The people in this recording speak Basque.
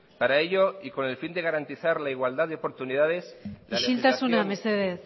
isiltasuna mesedez